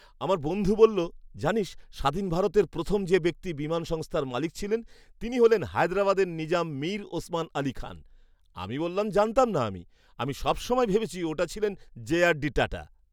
আমার বন্ধু বলল, জানিস স্বাধীন ভারতে প্রথম যে ব্যক্তি বিমান সংস্থার মালিক ছিলেন তিনি হলেন হায়দরাবাদের নিজাম মীর ওসমান আলী খান। আমি বললাম, "জানতাম না আমি। আমি সব সময় ভেবেছি ওটা ছিলেন জেআরডি টাটা"